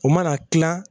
O mana kila